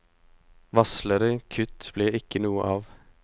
Varslede kutt blir ikke noe av.